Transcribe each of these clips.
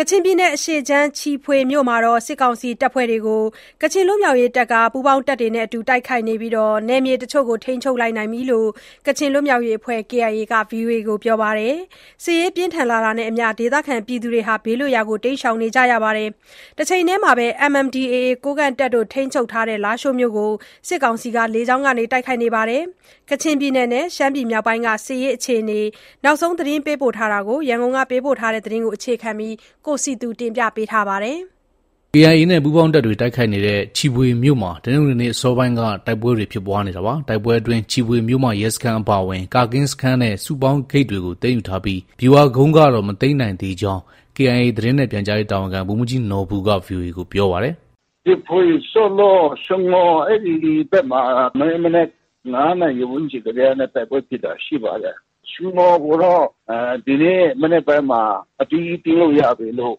ကချင်ပြည်နယ် အရှေ့ခြမ်းက ချီဖွေမြို့မှာ စစ်ကောင်စီတပ်ဖွဲ့တွေကို ပူးပေါင်းတပ်တွေနဲ့အတူ တိုက်ခိုက်နေပြီး၊ နယ်မြေတချို့ကို ထိန်းချုပ်နိုင်ကြောင်း ကချင်လွတ်မြောက်ရေးအဖွဲ့ KIA ကပြောပါတယ်။ စစ်ရေးပြင်းထန်လာနေတာနဲ့အမျှ ဒေသခံတွေလည်း ဘေးလွတ်ရာ တိမ်းရှောင်နေကြရတာပါ။ တချိန်တည်းမှာပဲ MNDAA ကိုးကန့်တပ်တွေ ထိန်းချုပ်ထားတဲ့ လားရှိုးမြို့ကိုလည်း စစ်ကောင်စီက လေကြောင်းက တိုက်ခိုက်ခဲ့ပါတယ်။ ကချင်ပြည်နယ်နဲ့ ရှမ်းပြည်မြောက်ပိုင်းက စစ်ရေးတင်းမာမှု အခြေအနေနဲ့ ပတ်သက်လို့ ရန်ကုန်က သတင်းပေးပို့ ထားတာကို တင်ပြထားပါတယ်။ KIA နဲ့ ပူးပေါင်းတပ်တွေ တိုက်ခိုက်နေတဲ့ ချီဖွေမြို့မှာ တနင်္ဂနွေနေ့ အစောပိုင်းကတည်းက တိုက်ပွဲတွေ ဖြစ်ပွားနေတာပါ။ တိုက်ပွဲအတွင်း ချီဖွေမြို့မရဲစခန်းအပါအဝင် ကာကင်းစခန်းနဲ့ စုပေါင်းဂိတ်တွေကို သိမ်းယူထားပြီး ဗျူဟာကုန်းကတော့ မသိမ်းနိုင်သေးကြောင်း KIA သတင်းနဲ့ပြန်ကြားရေးတာဝန်ခံ ဗိုလ်မှူးကြီးနော်ဘူက VOA ကို ပြောပါတယ်။ “ချီဖွေ၊ ဆော့လော့၊ ရှငေါ် အဲဒီဘက်မှာ မနေ့မနက် ၅နာရီ ဝန်းကျင်ကတည်းကနေ တိုက်ပွဲဖြစ်တာရှိပါတယ်။ ရှငေါ်ကိုတော့ ဒီနေ့ မနက်ပိုင်းမှာ အပြီး သိမ်းလို့ ရပြီလို့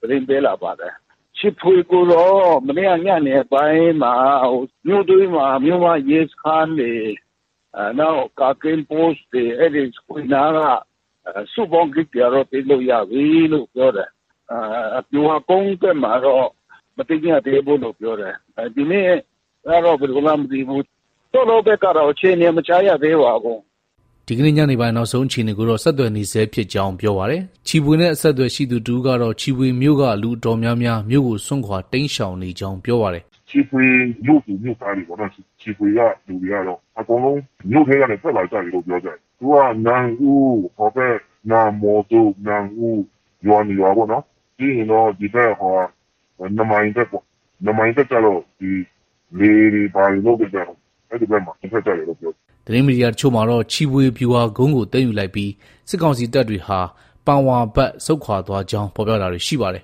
သတင်းပေးလာပါတယ်။ ချီဖွေကိုတော့ မနေ့က ညနေပိုင်းမှာ မြို့တွင်းမှာ မြို့မ ရဲစခန်းတွေ၊ နောက် ကာကင်း Post တွေ၊အဲဒီ ချီဖွေနားက စုပေါင်းဂိတ်တွေ ကတော့ သိမ်းလို့ ရပြီလို့ ပြောတယ်။ ဗျူဟာကုန်းဘက်မှာတော့ မသိမ်းရသေးဘူးလို့ ပြောတယ်။ ဒီနေ့ ကတော့ ဘယ်လိုမှန်း မသိဘူး။ ဆော့လော်ဘက်ကတော့ အခြေအနေ မကြားရသေးပါဘူး။” ဒီကနေ့ညနေပိုင်း နောက်ဆုံးအခြေအနေကိုတော့ ဆက်သွယ်နေဆဲ ရှိကြောင်း ပြောပါတယ်။ ချီဖွေနဲ့ အဆက်အသွယ်ရှိသူတဦးကတော့ ချီဖွေမြို့က လူအတော်များများ မြို့ကို စွန့်ခွာတိမ်းရှောင်နေကြောင်း ပြောပါတယ်။ “ချီဖွေ မြို့သူ မြို့သားတွေပေါ့နော်။ ချီဖွေက လူတွေကတော့ အကုန်လုံးမြို့ထဲကနေ ထွက်လာကြပြီလို့ ပြောကြတယ်။ သူတို့က နန့်ဟူး၊ နန့်မော်ဇွပ်၊ နန့်ဟူး ရွာ ၂ရွာပေါ့နော်။ ပြီးရင်တော့ ဒီဘက် ၂မိုင်ဘက် ၊ ၂မိုင်ဘက်ကျတော့ လယ်တွေ ဘာတွေလုပ်တဲ့ဘက်ပေါ့။ အဲဒီဘက် ထွက်ကြတယ်လို့ ပြောတယ်။” သတင်းမီဒီယာတချို့မှာတော့ ချီဖွေဗျူဟာကုန်းကို သိမ်းယူလိုက်ပြီး စစ်ကောင်စီတပ်တွေဟာ ပန်ဝါဘက် ဆုတ်ခွာသွားကြောင်း ဖော်ပြတာတွေ ရှိပါတယ်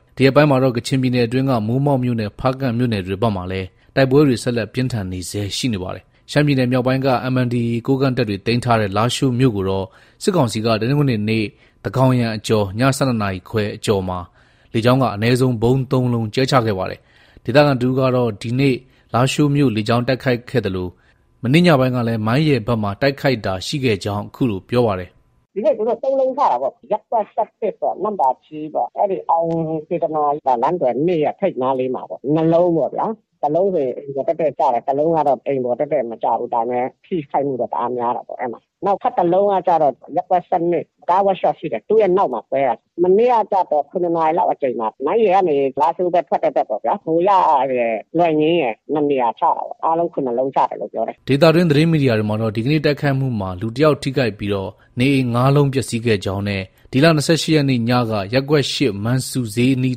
။ ဒီရက်ပိုင်းမှာတော့ ကချင်ပြည်နယ်အတွင်းက မိုးမောက်မြို့နယ်နဲ့ ဖားကန့်မြို့နယ်ဘက်မှာလည်း တိုက်ပွဲတွေ ဆက်လက်ပြင်းထန်နေဆဲရှိနေပါတယ်။ ရှမ်းပြည်နယ်မြောက်ပိုင်းက MNDAA ကိုးကန့်တပ်တွေ သိမ်းထားတဲ့ လားရှိုးမြို့ကိုတော့ စစ်ကောင်စီက တနင်္ဂနွေနေ့ သန်းခေါင်ယံအကျော် ၁၂နာရီခွဲအကျော်မှာ လေကြောင်းက အနည်းဆုံး ဗုံး ၃လုံးကြဲချခဲ့ပါတယ်။ ဒေသခံတဦးကတော့ ဒီနေ့ လားရှိုးမြို့လေကြောင်းတိုက်ခိုက်ခဲ့သလို မနေ့ည ပိုင်းကလည်း မိုင်းရယ်ဘက်မှာ တိုက်ခိုက်တာရှိခဲ့ကြောင်း အခုလို ပြောပါတယ်။ “ ဒီနေ့ သူတို့ ၃လုံးချတာပေါ့။ ရပ်ကွက် ၁၁၊ နန့်ပါချီးပေါ့ အဲဒီ အောင်စေတနာ လမ်းသွယ် ၂ရဲ့ ထိပ်နားလေးမှာ ၂လုံးပေါ့ဗျာ။ တလုံးဆိုရင် အိမ်ပေါ်တည့်တည့်ကျတယ်။ တလုံးကတော့ အိမ်ပေါ်တည့်တည်မကျဘူး။ ဒါပေမဲ့ ထိခိုက်မှုတော့ တအားများတာပေါ့။ နောက်ထပ်တလုံးကကျတော့ ရပ်ကွက် ၁၂ ၊ ကားဝပ်ရှော့တခုရှိတယ်။ သူ့ရဲ့နောက်မှာ ကွဲတာ။ မနေ့ကကျတော့ ၇နာရီလောက်အချိန်မှာ မိုင်းရယ်ကနေ လားရှိုးဘက် ထွက်တဲ့ဘက်ပေါ့ဗျာ။ ဟိုယရယ်၊ လွယ်ငင်းရယ် ၂နေရာချတာပေါ့။ အားလုံး ၇လုံးချတယ်လို့ ပြောတယ်။ ” ဒေသတွင်း သတင်းမီဒီယာတွေမှာကတော့ ဒီနေ့ တိုက်ခိုက်မှုမှာ လူ တယောက်ထိခိုက်ပြီး နေအိမ် ၅လုံး ပျက်ဆီးခဲ့ကြောင်း နဲ့ ဒီလ ၂၈ရက်နေ့ညက ရပ်ကွက် ၈ မန်ဆူ ဈေးအနီး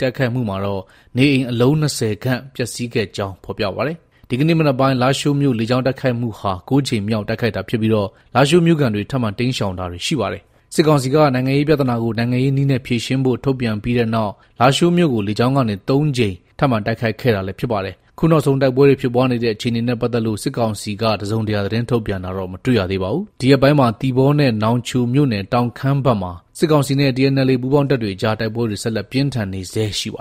တိုက်ခိုက်မှုမှာတော့ နေအိမ် အလုံး ၂၀ခန့် ပျက်ဆီးကြောင်း ဖော်ပြပါတယ်။ ဒီကနေ့ မနက်ပိုင်း လားရှိုးမြို့ လေကြောင်းတိုက်ခိုက်မှုဟာ ၉ ကြိမ်မြောက်တိုက်ခိုက်တာဖြစ်ပြီး လားရှိုးမြို့ခံတွေ ထပ်မံ တိမ်းရှောင်တာတွေ ရှိနေပါတယ်။ စစ်ကောင်စီက နိုင်ငံရေးပြဿနာကို နိုင်ငံရေးနည်းနဲ့ ဖြေရှင်းဖို့ ထုတ်ပြန်ပြီးနောက် လားရှိုးမြို့ကို လေကြောင်း ကနေ ၃ကြိမ် ထပ်မံတိုက်ခိုက်ခဲ့တာလည်း ဖြစ်ပါတယ်။ အခုနောက်ဆုံး တိုက်ပွဲတွေ ဖြစ်ပွားနေတဲ့ အခြေအနေနဲ့ ပတ်သက်လို့ စစ်ကောင်စီကတော့ တစုံတရာ သတင်းထုတ်ပြန်တာ မတွေ့ရသေးပါဘူး။ ဒီရက်ပိုင်းမှာတော့ သီပေါနဲ့ နောင်ချိုမြို့နယ် တောင်ခမ်းဘက်မှာ စစ်ကောင်စီနဲ့ TNLA ပူးပေါင်းတပ်တွေအကြား တိုက်ပွဲတွေ ဆက်လက်ပြင်းထန်နေဆဲရှိနေပါ